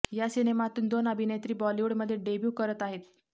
या सिनेमातून दोन अभिनेत्री बॉलिवूडमध्ये डेब्यू करत आहेत